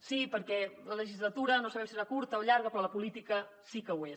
sí perquè la legislatura no sabem si serà curta o llarga però la política sí que ho és